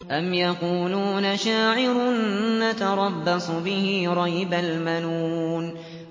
أَمْ يَقُولُونَ شَاعِرٌ نَّتَرَبَّصُ بِهِ رَيْبَ الْمَنُونِ